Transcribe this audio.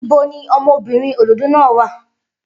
Ibo ni ọmọbìnrin òdòdó náà wà?